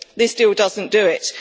This deal doesn't do